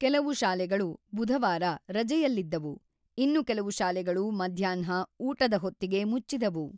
ಕೆಲವು ಶಾಲೆಗಳು ಬುಧವಾರ ರಜೆಯಲ್ಲಿದ್ದವು, ಇನ್ನು ಕೆಲವು ಶಾಲೆಗಳು ಮಧ್ಯಾಹ್ನ ಊಟದ ಹೊತ್ತಿಗೆ ಮುಚ್ಚಿದವು.